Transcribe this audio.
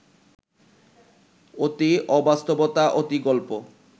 অতি অবাস্তবতা, অতি গল্প